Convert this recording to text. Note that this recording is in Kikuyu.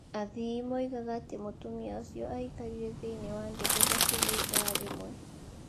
Athii moigaga atĩ mũtumia ũcio aaikarire thĩinĩ wa ndege hakuhĩ ithaa rĩmwe.